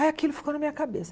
Aí aquilo ficou na minha cabeça.